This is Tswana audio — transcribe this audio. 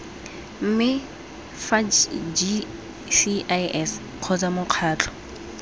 mme fa gcis kgotsa mokgatlho